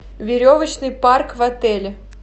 веревочный парк в отеле